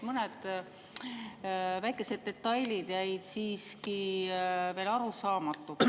Mõned väikesed detailid jäid siiski veel arusaamatuks.